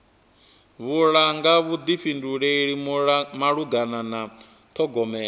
vhulunga vhuḓifhinduleli malugana na ṱhogomelo